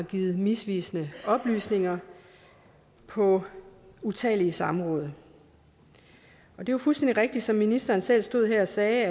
givet misvisende oplysninger på utallige samråd det er fuldstændig rigtigt at ministeren selv stod her og sagde